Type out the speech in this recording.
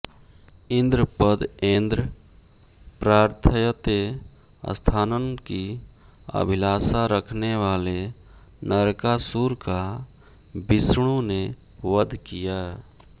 इन्द्रपदऐन्द्रं प्रार्थयते स्थानं की अभिलाषा रखने वाले नरकासुर का विष्णु ने वध किया